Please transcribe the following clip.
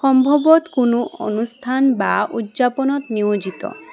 সম্ভভত কোনো অনুস্থান বা উদযাপানত নিয়োজিত।